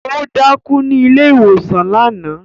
O dákú ní ilé ìwòsàn náà